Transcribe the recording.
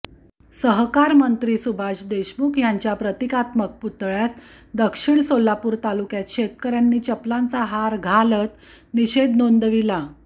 सहकारमंत्री सुभाष देशमुख यांच्या प्रतिकात्मक पुतळ्यास दक्षिण सोलापूर तालुक्यात शेतकर्यांनी चपलांचा हार घालत निषेध नोंदविला